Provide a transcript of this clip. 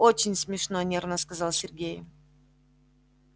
очень смешно нервно сказал сергей